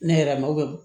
Ne yɛrɛ ma